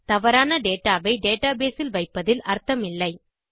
தவறான டேடாவை டேட்டாபேஸ் இல் வைப்பதில் அர்த்தமில்லை